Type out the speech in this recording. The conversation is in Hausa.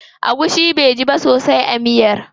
Agushi baiji ba sosai a miyar.